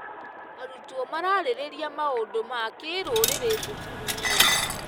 Arutwo mararĩrĩria maũndũ ma kĩrũrĩrĩ thukuru-inĩ.